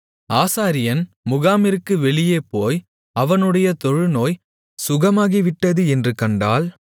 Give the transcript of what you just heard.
ஆசாரியன் முகாமிற்கு வெளியே போய் அவனுடைய தொழுநோய் சுகமாகிவிட்டது என்று கண்டால்